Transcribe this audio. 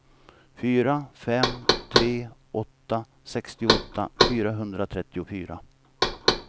fyra fem tre åtta sextioåtta fyrahundratrettiofyra